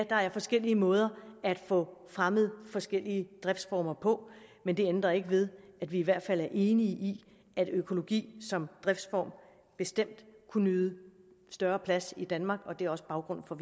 der er forskellige måder at få fremmet forskellige driftsformer på men det ændrer ikke ved at vi i hvert fald er enige i at økologi som driftsform bestemt kunne nyde større plads i danmark og det er også baggrunden for